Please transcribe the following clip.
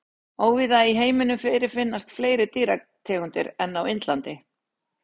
Óvíða í heiminum fyrirfinnast fleiri dýrategundir en á Indlandi.